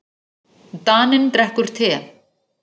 Daninn drekkur te.